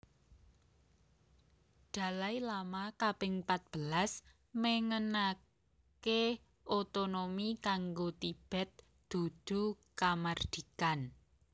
Dalai Lama kaping patbelas méngénaké otonomi kanggo Tibet dudu kamardikan